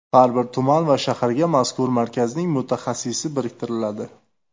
Har bir tuman va shaharga mazkur markazning mutaxassisi biriktiriladi.